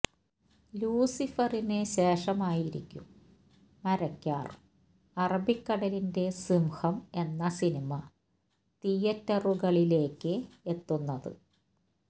ലൂസിഫറിന് ശേഷമായിരിക്കും മരക്കാര് അറബിക്കടലിന്റെ സിംഹം എന്ന സിനിമ തിയറ്ററുകളിലേക്ക് എത്തുന്നത്